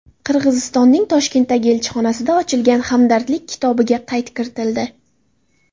Qirg‘izistonning Toshkentdagi elchixonasida ochilgan Hamdardlik kitobiga qayd kiritildi.